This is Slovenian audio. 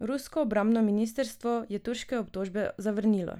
Rusko obrambno ministrstvo je turške obtožbe zavrnilo: